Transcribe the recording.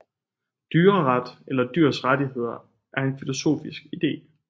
Dyreret eller dyrs rettigheder er en filosofisk ide